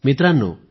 मित्रांनो